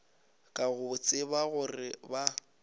ka go tseba gore ba